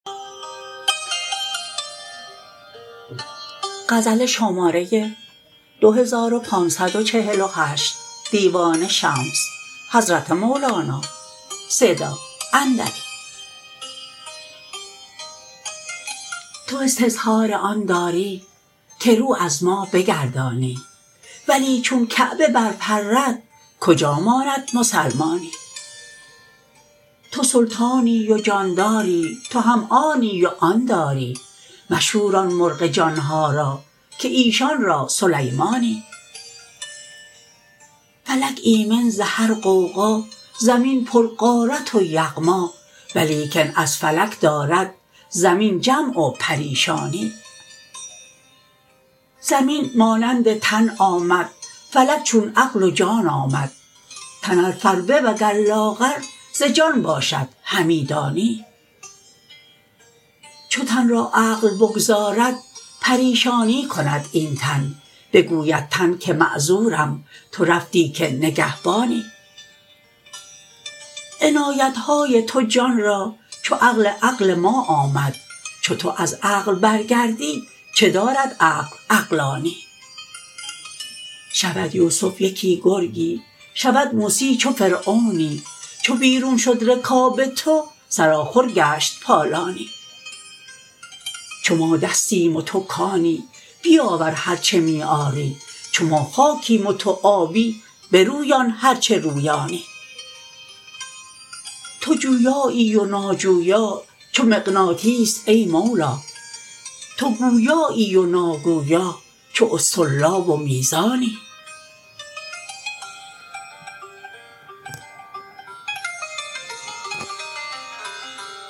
تو استظهار آن داری که رو از ما بگردانی ولی چون کعبه برپرد کجا ماند مسلمانی تو سلطانی و جانداری تو هم آنی و آن داری مشوران مرغ جان ها را که ایشان را سلیمانی فلک ایمن ز هر غوغا زمین پرغارت و یغما ولیکن از فلک دارد زمین جمع و پریشانی زمین مانند تن آمد فلک چون عقل و جان آمد تن ار فربه وگر لاغر ز جان باشد همی دانی چو تن را عقل بگذارد پریشانی کند این تن بگوید تن که معذورم تو رفتی که نگهبانی عنایت های تو جان را چو عقل عقل ما آمد چو تو از عقل برگردی چه دارد عقل عقلانی شود یوسف یکی گرگی شود موسی چو فرعونی چو بیرون شد رکاب تو سرآخر گشت پالانی چو ما دستیم و تو کانی بیاور هر چه می آری چو ما خاکیم و تو آبی برویان هر چه رویانی تو جویایی و ناجویا چو مغناطیس ای مولا تو گویایی و ناگویا چو اسطرلاب و میزانی